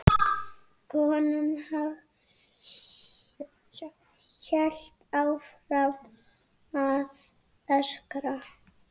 Konan hélt áfram að öskra.